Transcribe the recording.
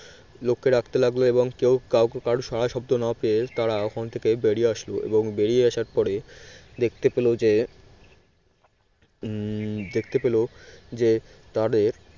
লোককে ডাকতে লাগলো এবং কেউ কারো সাড়াশব্দ না পেয়ে তারা ওখান থেকে বেরিয়ে আসলো এবং বেরিয়ে আসার পরে দেখতে পেল যে উম দেখতে পেল যে তাদের